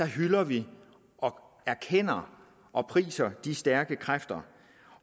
hylder vi og erkender og priser de stærke kræfter